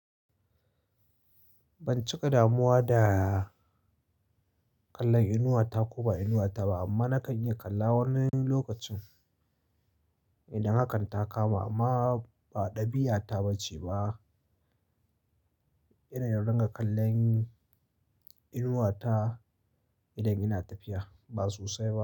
Ban cika damuwa da kallon inuwa ta ko ba inuwa ta ba, amma na kan iya kalla wani lokacin idan hakan ta kama. Amma ba ɗabi'ata ba ce ba irin ya dinga kallon inuwa ta idan ina tafiya, ba sosai ba.